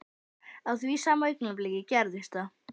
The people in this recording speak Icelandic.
Á því sama augnabliki gerðist það.